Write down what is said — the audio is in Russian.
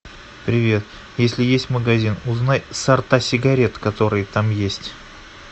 привет если есть магазин узнай сорта сигарет которые там есть